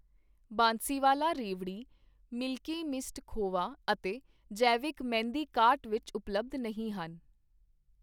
ਬਾਂਸੀਵਾਲਾ ਰੇਵਡੀ, milky mist ਖੋਵਾ ਅਤੇ ਜੈਵਿਕ ਮਹਿੰਦੀ ਕਾਰਟ ਵਿੱਚ ਉਪਲੱਬਧ ਨਹੀਂ ਹਨ